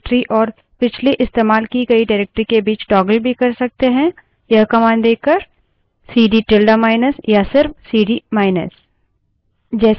present working directory और पिछली इस्तेमाल की गयी directory के बीच toggle भी कर सकते हैं यह command देकर